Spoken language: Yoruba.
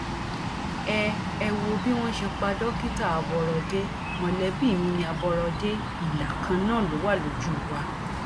ẹ ẹ wo bí wọn ṣe pa dókítà aborọdé mọlẹbí mi ní àbọrọdé ìlà kan náà ló jọ wà lójú wa